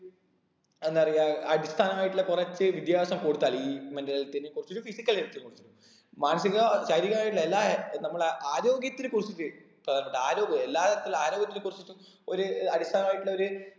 എന്താ പറയാ അടിസ്ഥാനമായിട്ടുള്ള കുറച്ച് വിദ്യാഭ്യാസം കൊടുത്താല് ഈ mental health ന് കുറച്ചിട്ടും physical health നെ കുറിച്ചും മാനസിക ശാരീരികമായുള്ള എല്ലാ നമ്മളെ ആരോഗ്യത്തിനെ കുറിച്ചിട്ട് ഏർ എല്ലാ തരത്തിലുള്ള ആരോഗ്യത്തിനെ കുറിച്ചിട്ടും ഒര് ഏർ അടിസ്ഥാനമായിട്ടുള്ള ഒര്